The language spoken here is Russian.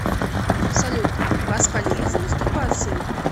салют вас палили за мастурбацией